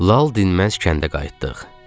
Lal dinməz kəndə qayıtdıq.